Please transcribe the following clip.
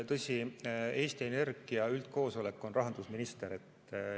Tõsi, Eesti Energia üldkoosolek on rahandusminister.